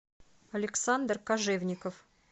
александр кожевников